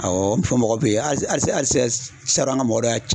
Awɔ, fɔ mɔgɔ bɛ ye halisa halisa salo an ka mɔgɔ dɔ y'a ci